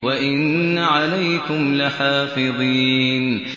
وَإِنَّ عَلَيْكُمْ لَحَافِظِينَ